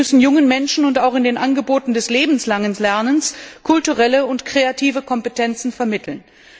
Wir müssen jungen Menschen und auch in den Angeboten des lebenslangen Lernens kulturelle und kreative Kompetenzen vermitteln.